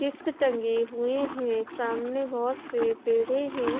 Chips टंगे हुए हैं सामने बहुत से पेड़े हैं।